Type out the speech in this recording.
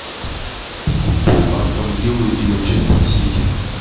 футбол астон виллы и манчестер сити